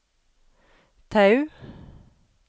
Tau